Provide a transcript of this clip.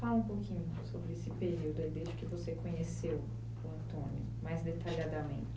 Fala um pouquinho sobre esse período aí, desde que você conheceu o Antônio mais detalhadamente.